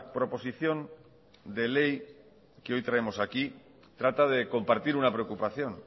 proposición de ley que hoy traemos aquí trata de compartir una preocupación